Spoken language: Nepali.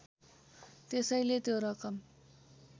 त्यसैले त्यो रकम